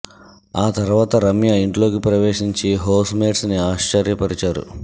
ఆ తర్వాత రమ్య ఇంట్లోకి ప్రవేశించి హోస్ మేట్స్ ని ఆశ్చర్యపరిచారు